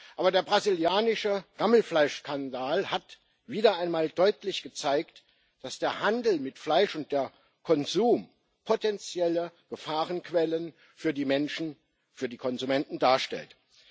Aber der brasilianische Gammelfleischskandal hat wieder einmal deutlich gezeigt, dass der Handel mit Fleisch und der Konsum potenzielle Gefahrenquellen für die Menschen, für die Konsumenten darstellen.